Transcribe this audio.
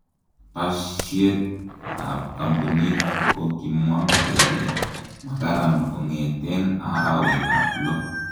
pashiet ap kampunit kokimwa kele makaran kongeten arawat ab lo.